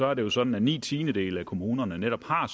er det jo sådan at ni tiendedele af kommunerne netop har